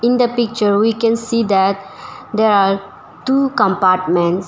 In the picture we can see that there are two compartments.